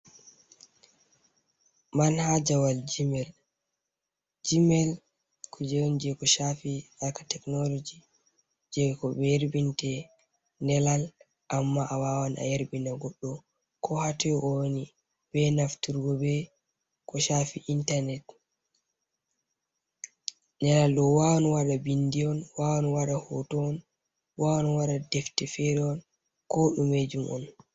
Man hajawal jimel. jimel kuje on ko shafi aka teknoloji. je ko be yerbinte nelal. Amma a wawan a yarbina goɗɗo ko hatoi o wani. Be nafturgo be ko shafi intarnet. Nelal ɗo wawan waɗa binɗi on, wawan waɗa hoto on, wawan waɗa defte feri on ko ɗumejum on.